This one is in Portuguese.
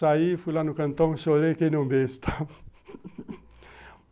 Saí, fui lá no cantão, chorei que nem um besta